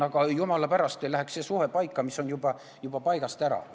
Aga et jumala pärast ei läheks see suhe paika, mis on juba paigast ära.